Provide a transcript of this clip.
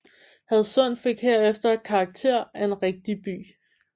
Hadsund fik herefter karakter af en rigtig by